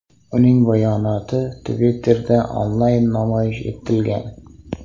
Uning bayonoti Twitter’da onlayn namoyish etilgan.